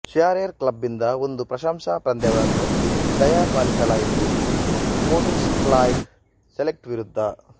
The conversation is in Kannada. ಶಿಯರೆರ್ ಕ್ಲಬಿಂದ ಒಂದು ಪ್ರಶಂಸಾ ಪಂದ್ಯವನ್ನು ದಯಪಾಲಿಸಲಾಯಿತು ಸ್ಕೊಟಿಶ್ಸೈಡ್ ಸೆಲ್ಟಿಕ್ ವಿರುದ್ಧ